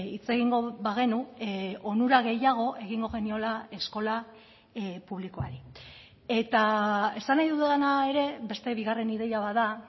hitz egingo bagenu onura gehiago egingo geniola eskola publikoari eta esan nahi dudana ere beste bigarren ideia bat da